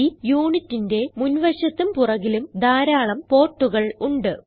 ഈ unitന്റെ മുൻ വശത്തും പുറകിലും ധാരാളം portകൾ ഉണ്ട്